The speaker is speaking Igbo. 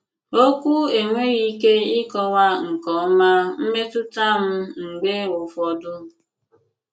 Òkwù ènweghị ìkè ịkọwà nke òma mmètùtà m mg̀bè ụfọdụ. ”